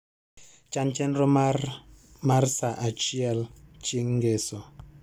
Chan chenro mar mar saa achiel chieng' ngeso